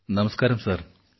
hello നമസ്കാരം sir